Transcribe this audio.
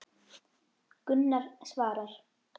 Gunnar svarar.